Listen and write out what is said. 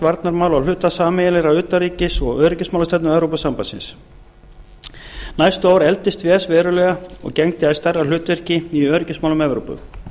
hluta sameiginlegrar utanríkis og öryggismálastefnu evrópusambandsins næstu ár efldist ves verulega og gegndi æ stærra hlutverki í öryggismálum evrópu